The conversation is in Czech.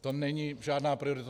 To není žádná priorita.